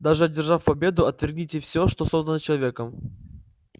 даже одержав победу отвергните все что создано человеком